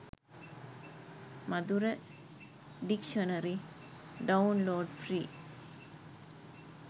madura dictionary download free